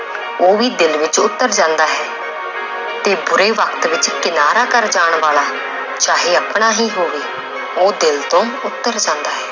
ਉਹ ਵੀ ਦਿਲ ਵਿੱਚ ਉਤਰ ਜਾਂਦਾ ਹੈ ਤੇ ਬੁਰੇ ਵਕਤ ਵਿੱਚ ਕਿਨਾਰਾ ਕਰ ਜਾਣ ਵਾਲਾ ਚਾਹੇ ਆਪਣਾ ਹੀ ਹੋਵੇ ਉਹ ਦਿਲ ਤੋਂ ਉੱਤਰ ਜਾਂਦਾ ਹੈ।